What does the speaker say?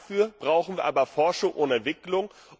Dafür brauchen wir aber Forschung und Entwicklung.